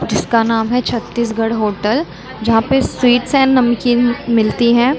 जिसका नाम है छत्तीसगढ़ होटल जहाँ पे स्वीट्स एंड नमकीन मिलती हैं ।